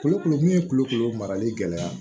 Kolo kolo min kulukolo marali gɛlɛya